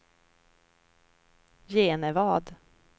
Genevad